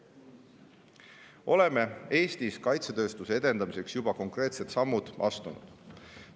Oleme Eestis kaitsetööstuse edendamiseks juba konkreetsed sammud astunud.